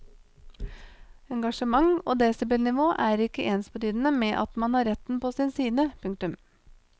Engasjement og desibelnivå er ikke ensbetydende med at man har retten på sin side. punktum